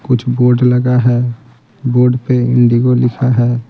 कुछ बोर्ड लगा है बोर्ड पे इंडिगो लिखा है।